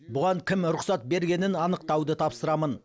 бұған кім рұқсат бергенін анықтауды тапсырамын